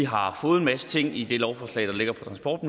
har fået en masse ting i det lovforslag der ligger på transport